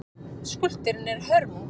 Skúlptúrinn er hörmung.